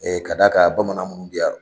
E ka d'a ka bamanan minnu bi yan.